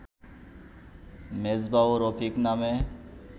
মেজবা ও রফিক নামে